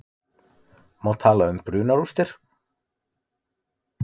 Má tala um brunarústir?